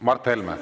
Mart Helme!